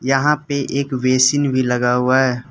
यहां पे एक बेसिन भी लगा हुआ है।